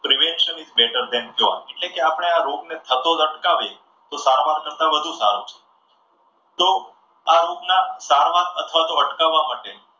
better than cure એટલે કે આપણા રોગને થતો અટકાવી તો સારવાર કરતા વધુ સારું છે. તો આ રોગ ના સારવાર તથા અટકાવવા માટે